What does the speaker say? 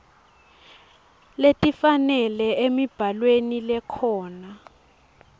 letifanele emibhalweni lekhona